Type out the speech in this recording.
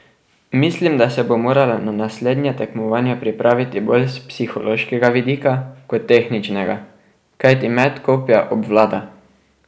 Mislim, da se bo morala na naslednja tekmovanja pripraviti bolj s psihološkega vidika kot tehničnega, kajti met kopja obvlada.